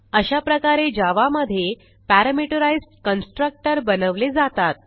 अशा प्रकारे जावा मधे पॅरामीटराईज्ड कन्स्ट्रक्टर बनवले जातात